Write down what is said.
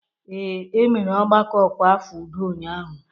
Ee, e mere ọgbakọ ọkwa afọ udo ụnyahụ.